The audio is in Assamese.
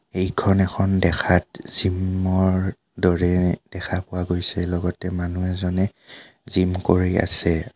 এইখন এখন দেখাত জিম ৰ দৰে দেখা পোৱা গৈছে লগতে মানুহ এজনে জিম কৰি আছে আ--